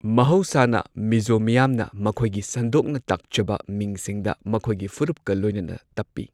ꯃꯍꯧꯁꯥꯅ ꯃꯤꯖꯣ ꯃꯤꯌꯥꯝꯅ ꯃꯈꯣꯏꯒꯤ ꯁꯟꯗꯣꯛꯅ ꯇꯥꯛꯆꯕ ꯃꯤꯡꯁꯤꯡꯗ ꯃꯈꯣꯏꯒꯤ ꯐꯨꯔꯨꯞꯀ ꯂꯣꯏꯅꯅ ꯇꯞꯄꯤ꯫